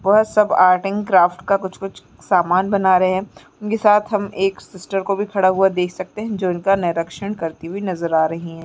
वहाँ सब art and craft का कुछ सामान बना रहें हैं उनके साथ हमें एक सिस्टर को भी खड़ा हुआ देख सकते है जो उनका निरक्षण करती हुई नज़र आ रही है।